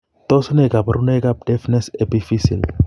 Tos nee kabarunaik ab Deafness , epiphyseal ?